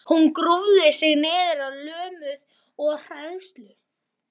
Hún grúfði sig niður lömuð af hræðslu.